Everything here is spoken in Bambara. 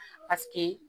Paseke